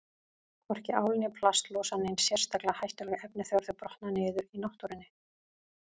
Hvorki ál né plast losa nein sérstaklega hættuleg efni þegar þau brotna niður í náttúrunni.